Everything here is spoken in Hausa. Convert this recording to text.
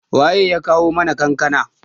waye ya kawo mana kankana?